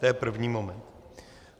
To je první moment.